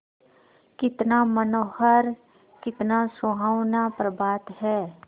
कितना मनोहर कितना सुहावना प्रभात है